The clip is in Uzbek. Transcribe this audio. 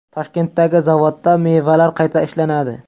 Toshkentdagi zavodda mevalar qayta ishlanadi.